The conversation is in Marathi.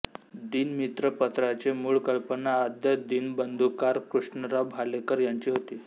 दीनमित्र पत्राची मूळ कल्पना आद्य दिनबंधुकार कृष्णराव भालेकर यांची होती